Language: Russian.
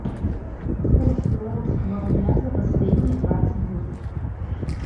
курс белорусского рубля за последние двадцать дней